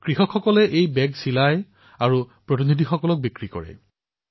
কৃষকসকলে বেগ নিৰ্মাণ কৰি প্ৰতিনিধিসকলক বিক্ৰী কৰিছিল